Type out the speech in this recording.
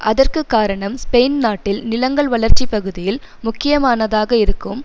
அதற்கு காரணம் ஸ்பெயின் நாட்டில் நிலங்கள் வளர்ச்சி பகுதியில் முக்கியமானதாக இருக்கும்